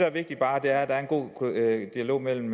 er vigtigt er at der er en god dialog mellem